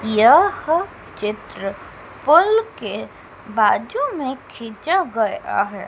यह चित्र पुल के बाजू में खींचा गया हैं।